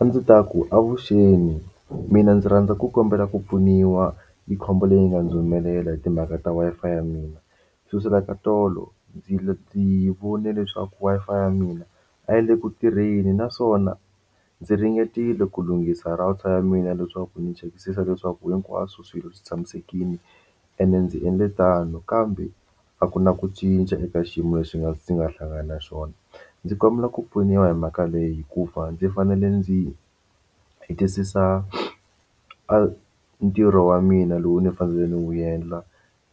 A ndzi ta ku avuxeni mina ndzi rhandza ku kombela ku pfuniwa yi khombo leyi yi nga ndzi humelela hi timhaka ta Wi-Fi ya mina xo suka ka tolo ndzi ndzi vone leswaku Wi-Fi ya mina a yi le ku tirheni naswona ndzi ringetile ku lunghisa router ya mina leswaku ndzi chekisisa leswaku hinkwaswo swilo swi tshamisekile ene ndzi endle tano kambe a ku na ku cinca eka xiyimo lexi nga ndzi nga hlangana na xona ndzi kombela ku pfuniwa hi mhaka leyi hikuva ndzi fanele ndzi hetisisa a ntirho wa mina lowu ni fanele ni wu endla